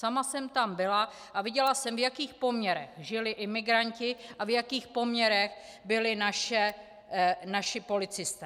Sama jsem tam byla a viděla jsem, v jakých poměrech žili imigranti a v jakých poměrech byli naši policisté.